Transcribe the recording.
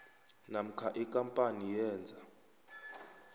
namkha ikampani yenza